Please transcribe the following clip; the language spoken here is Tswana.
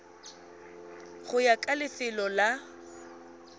go ya ka lefelo la